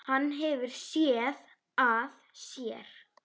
Hann hefur SÉÐ AÐ SÉR.